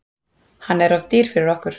Hann er of dýr fyrir okkur.